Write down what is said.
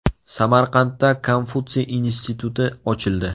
Samarqandda Konfutsiy instituti ochildi.